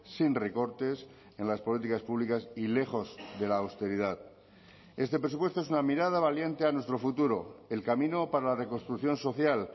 sin recortes en las políticas públicas y lejos de la austeridad este presupuesto es una mirada valiente a nuestro futuro el camino para la reconstrucción social